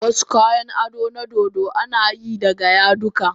Wasu kayan ado na dodo ana yi daga yadudduka.